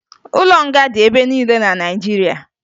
Ụlọ nga dị ebe niile na Naịjirịa